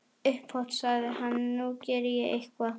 Upphátt sagði hann:- Nú geri ég eitthvað.